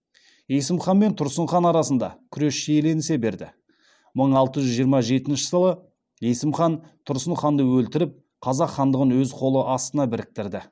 есім хан мен тұрсын хан арасында күрес шиеленісе берді мың алты жүз жиырма жетінші жылы есім хан тұрсын ханды өлтіріп қазақ хандығын өз қол астына біріктірді